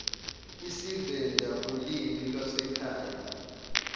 isivenda ulimi lwasekhaya